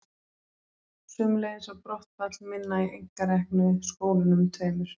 Sömuleiðis var brottfall minna í einkareknu skólunum tveimur.